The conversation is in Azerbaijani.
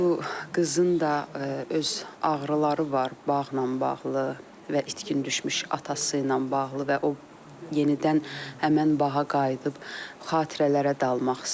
Bu qızın da öz ağrıları var bağla bağlı və itkin düşmüş atası ilə bağlı və o yenidən həmən bağa qayıdıb xatirələrə dalmaq istəyir.